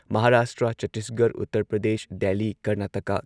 Maharashtra, Chhattisgarh, Uttar Pradesh, Delhi, Karnataka